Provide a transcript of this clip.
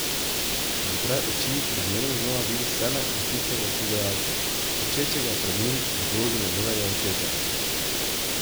Zapre oči in zmerom znova vidi sebe in tistega pogajalca, klečečega pred njim v vlogi njegovega očeta.